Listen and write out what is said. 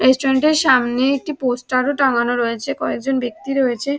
Restaurant সামনে একটি poster টাঙ্গানো রয়েছে কয়েকজন ব্যক্তি রয়েছে।